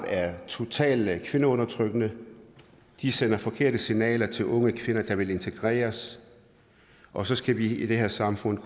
er totalt kvindeundertrykkende de sender forkerte signaler til unge kvinder der vil integreres og så skal vi i det her samfund